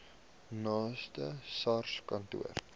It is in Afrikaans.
naaste sars kantoor